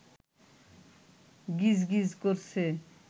গিজগিজ করছে